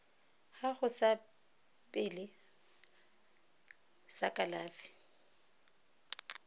gago sa pele sa kalafi